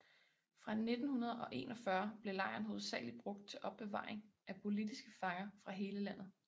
Fra 1941 blev lejren hovedsagelig brugt til opbevaring af politiske fanger fra hele landet